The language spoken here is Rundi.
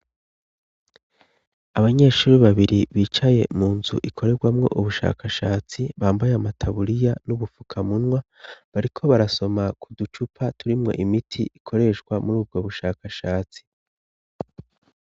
Abanyeshuri babiri bicaye mu nzu ikorerwamwo ubushakashatsi bambaye amataburiya n'ubufukamunwa, bariko barasoma ku ducupa turimwo imiti ikoreshwa muri ubwo bushakashatsi.